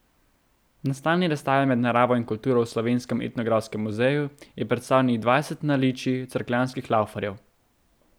Na stalni razstavi Med naravo in kulturo v Slovenskem etnografskem muzeju je predstavljenih dvajset naličij cerkljanskih laufarjev.